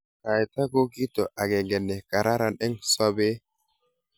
Kaita ko kito akenge ne kararan eng sobee.